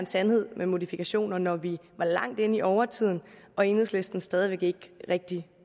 sandhed med modifikationer når vi var langt inde i overtiden og enhedslisten stadig væk ikke rigtig